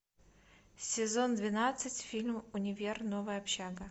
сезон двенадцать фильм универ новая общага